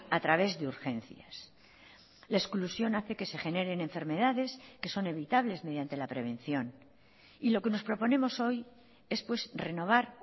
a través de urgencias la exclusión hace que se generen enfermedades que son evitables mediante la prevención y lo que nos proponemos hoy es pues renovar